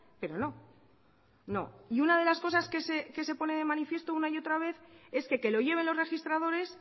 pero no no y una de las cosas que se pone de manifiesto una y otra vez es que que lo lleven los registradores